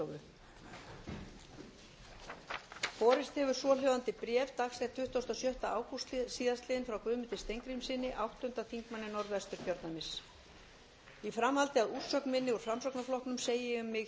borist hefur svohljóðandi bréf dagsett tuttugasta og sjötta ágúst síðastliðinn frá guðmundi steingrímssyni áttundi þingmaður norðvesturkjördæmis í framhaldi af úrsögn minni úr framsóknarflokknum segi ég mig hér